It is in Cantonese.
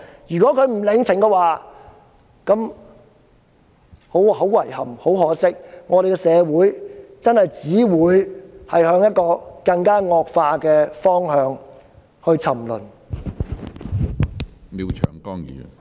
如果中共不領情，那便很遺憾、很可惜，因為我們的社會真的只會向一個更惡化的方向沉淪。